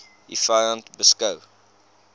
u vyand beskou